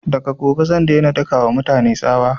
Daga gobe zan daina daka wa mutane tsawa